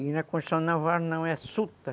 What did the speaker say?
E na Constituição Naval não, é suta.